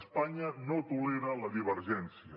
espanya no tolera la divergència